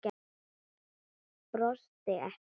Brosti ekki.